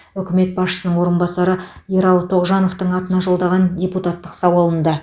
үкімет басшысының орынбасары ералы тоғжановтың атына жолдаған депутаттық сауалында